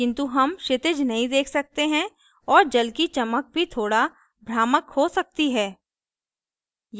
किन्तु हम क्षितिज नहीं देख सकते हैं और जल की चमक भी थोड़ा भ्रामक हो सकती है